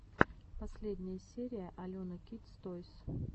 последняя серия алена кидс тойс